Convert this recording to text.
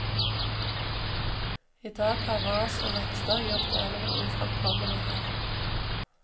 I dag har ras og vekster gjort elven ufremkommelig her.